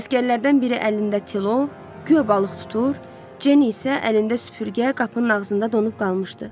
Əsgərlərdən biri əlində tlov, guya balıq tutur, Cenni isə əlində süpürgə, qapının ağzında donub qalmışdı.